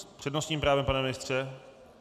S přednostním právem, pane ministře?